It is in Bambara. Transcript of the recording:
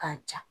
K'a ja